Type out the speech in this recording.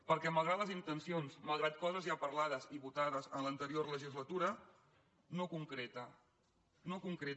perquè malgrat les intencions malgrat coses ja parlades i votades en l’anterior legislatura no concreta no concreta